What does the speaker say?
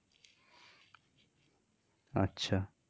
আচ্ছা.